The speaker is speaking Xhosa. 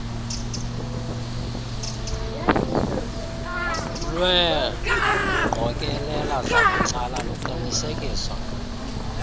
lweengqokelela zabucala luqinisekisa